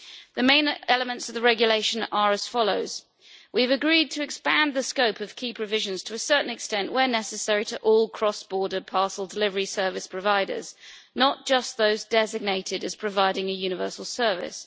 The main elements of the regulation are as follows we have agreed to expand the scope of key provisions to a certain extent where necessary to all cross border parcel delivery service providers, not just those designated as providing a universal service.